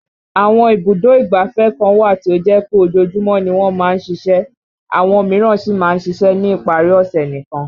Àwọn ibùdó ìgbáfẹ́ kan wà tí ó jẹ́ pé ojoojúmọ́ ni wọ́n máa ń ṣiṣẹ́ àwọn míràn sì máa ń ṣiṣẹ́ ní ìparí ọ̀ṣẹ̀ nìkan